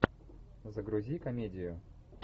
загрузи комедию